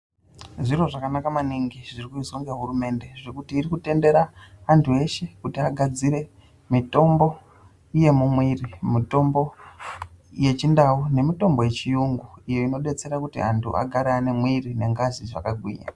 Zviro zvakanaka maningi zviri kuizwa nehurumende nekuti ikudetsera muntu weshe agadzire mitombo yemumwiri mutombo wechindau nemitombo yechirungu iyo inodetsera kuti antu agare ane mwiri nengazi zvakagwinya.